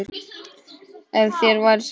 Ef þér væri sama, já.